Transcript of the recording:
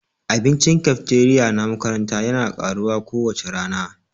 Abincin cafeteria na makaranta yana karuwa kowace rana